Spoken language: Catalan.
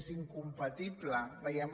és incompatible veiem